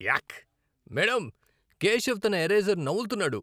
యాక్! Madam, Keshav తన eraser నములుతున్నాడు.